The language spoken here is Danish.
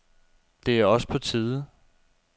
Det er også på tide.